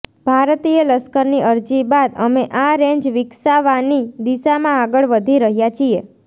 ભારતીય લશ્કરની અરજી બાદ અમે આ રેન્જ વિકસાવાની દિશામાં આગળ વધી રહ્યા છીએ